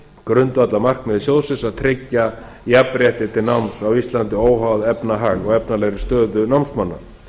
grundvallarmarkmiði sjóðsins að tryggja jafnrétti til náms á íslandi óháð efnahag og efnalegri stöðu námsmanna